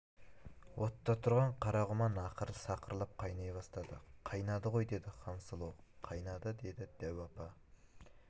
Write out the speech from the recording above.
отта тұрған қара құман ақыры сақырлап қайнай бастады қайнады ғой деді хансұлу қайнады деді дәу апа